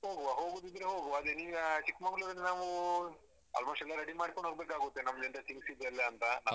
ಹೋಗುವ ಹೋಗುದಿದ್ರೆ ಹೋಗುವ ಅದೆ ನೀವು ಚಿಕ್ಮಗ್ಲೊರಿಂದ ನಾವು almost ಎಲ್ಲ ready ಮಾಡ್ಕೊಂಡು ಹೋಗ್ಬೇಕಾಗುತ್ತೆ ನಮ್ದು ಎಲ್ಲ things ಇದ್ಯಾ ಅಂತ ಎಲ್ಲ.